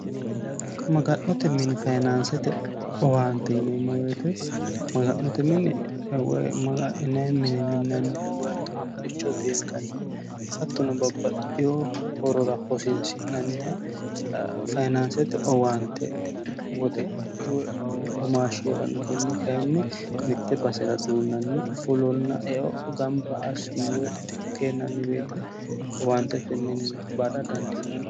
maga'note mini fayinaansete owaante yineemo weete maga'note mine maga'nine mine minanniha woy hattono buxicho beenkanniha hattono babbaxxiho horora hosiinsi'nanniha fayinaansete owaante woxe woy womaasha konne kayinni mitte basera duunnanni fulonna eo gamba assine woy kennanni baseete owaantetenninni baada dandiinanni